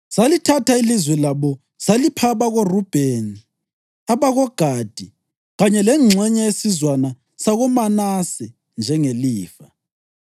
Salithatha ilizwe labo salipha abakoRubheni, abakoGadi kanye lengxenye yesizwana sakoManase njengelifa.